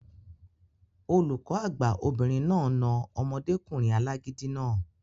Olùkọ́ àgbà obìnrin náà na omọdékùnrin alágídí náà